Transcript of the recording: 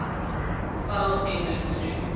fell ended soon